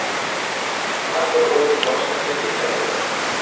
Har bir o‘yin boshqacha kechadi.